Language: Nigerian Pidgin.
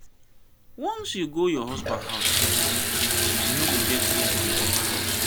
once you go your husband house you no go get room for your papa house.